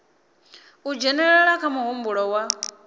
u dzhenelela kha muhumbulo wa